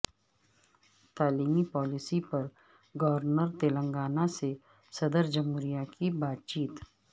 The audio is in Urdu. تعلیمی پالیسی پر گورنر تلنگانہ سے صدر جمہوریہ کی بات چیت